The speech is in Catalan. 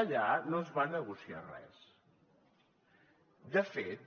allà no es va a negociar res de fet